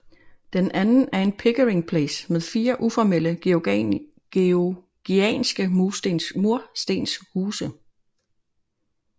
Den anden er Pickering Place med fire uformelle georgianske murstenshuse